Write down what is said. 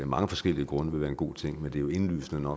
mange forskellige grunde vil være en god ting men det er jo indlysende